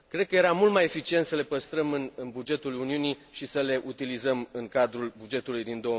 Cred că era mult mai eficient să le păstrăm în bugetul Uniunii și să le utilizăm în cadrul bugetului din